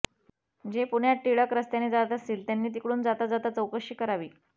जे पुण्यात टिळक रस्त्याने जात असतील त्यांनी तिकडून जाता जाता चौकशी करावी